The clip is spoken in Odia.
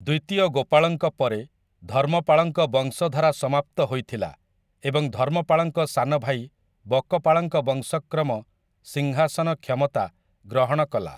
ଦ୍ୱିତୀୟ ଗୋପାଳଙ୍କ ପରେ ଧର୍ମପାଳଙ୍କ ବଂଶଧାରା ସମାପ୍ତ ହୋଇଥିଲା ଏବଂ ଧର୍ମପାଳଙ୍କ ସାନ ଭାଇ ବକପାଳଙ୍କ ବଂଶକ୍ରମ ସିଂହାସନ କ୍ଷମତା ଗ୍ରହଣ କଲା ।